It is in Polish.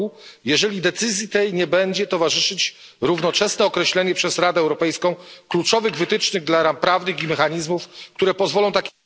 r., jeżeli decyzji tej nie będzie towarzyszyć równoczesne określenie przez Radę Europejską kluczowych wytycznych dla ram prawnych i mechanizmów, które pozwolą tak...